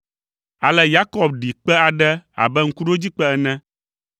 Ale Yakob ɖi kpe aɖe abe ŋkuɖodzikpe ene,